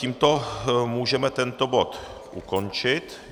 Tímto můžeme tento bod ukončit.